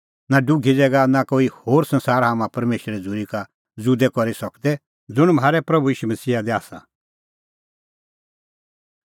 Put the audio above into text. नां डुघी ज़ैगा नां कोई होर संसार हाम्हां परमेशरे झ़ूरी का ज़ुदै करी सकदै ज़ुंण म्हारै प्रभू ईशू मसीहा दी आसा